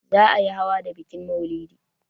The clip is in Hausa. Za a yi hawa da bikin maulidi.